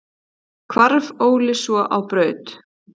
Hvarf Óli svo á braut.